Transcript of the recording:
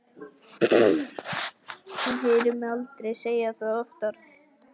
Hann heyrir mig aldrei segja það oftar.